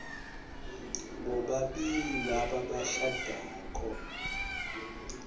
bobabili laba labashadako